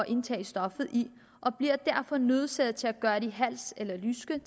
indtage stoffet i og bliver derfor nødsaget til at gøre det i halsen eller i lysken